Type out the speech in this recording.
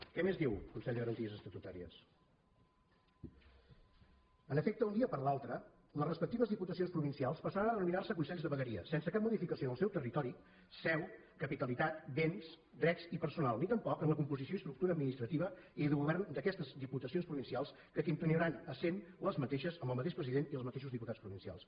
què més diu el consell de garanties estatutàries en efecte d’un dia per l’altre les respectives diputacions provincials passaran a denominar se consells de vegueria sense cap modificació en el seu territori seu capitalitat béns drets i personal ni tampoc en la composició i estructura administrativa i de govern d’aquestes diputacions provincials que continuaran essent les mateixes amb el mateix president i els mateixos diputats provincials